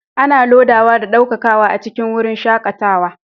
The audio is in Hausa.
Ana lodawa da ɗaukakawa a cikin wurin shakatawa